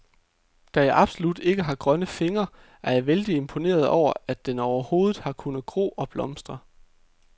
Da jeg absolut ikke har grønne fingre, er jeg vældig imponeret over, at den overhovedet har kunnet gro og blomstre.